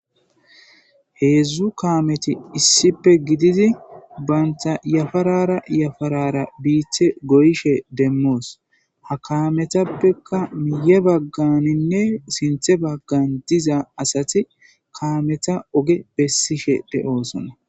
heedzdzu kaameti issipe gididi baynta yafarara yafarara biithe goyishe demmoos ha kaametappekka miye bagganinne sinthe baggan diza asati kaameta oge bessishe de7oosona